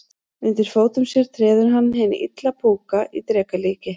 Undir fótum sér treður hann hinn illa púka í dreka líki.